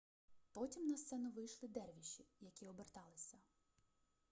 потім на сцену вийшли дервіші які оберталися